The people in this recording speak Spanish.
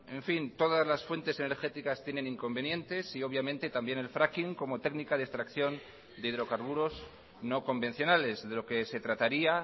en fin todas las fuentes energéticas tienen inconvenientes y obviamente también el fracking como técnica de extracción de hidrocarburos no convencionales de lo que se trataría